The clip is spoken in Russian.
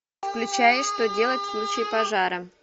включай что делать в случае пожара